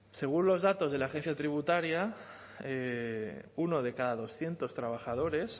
según los datos de la agencia tributaria uno de cada doscientos trabajadores